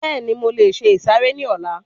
Bẹ́ẹ̀ni, mo lè se ìsàrẹ́ ní ọlá